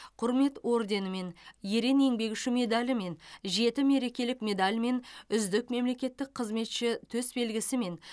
құрмет орденімен ерен еңбегі үшін медалімен жеті мерекелік медальмен үздік мемлекеттік қызметші төсбелгісімен